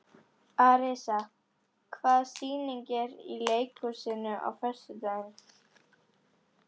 Arisa, hvaða sýningar eru í leikhúsinu á föstudaginn?